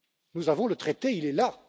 Nous avons le traité, il est là.